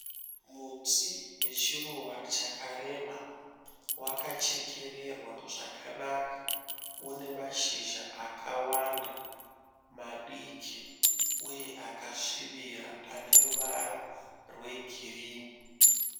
Muti wechiruva chakareba, wakachekererwa zvakanaka. Unemashizha akawanda, madiki uye akasvibira aneruvara rwegirinhi.